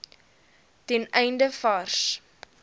ten einde vars